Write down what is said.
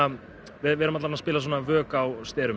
við erum að spila vök á sterum